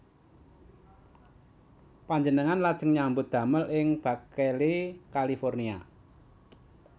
Panjenengan lajeng nyambut damel ing Berkeley California